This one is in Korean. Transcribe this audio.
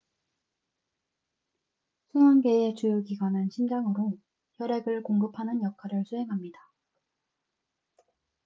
순환계의 주요 기관은 심장으로 혈액을 공급하는 역할을 수행합니다